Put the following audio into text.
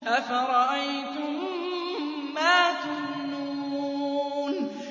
أَفَرَأَيْتُم مَّا تُمْنُونَ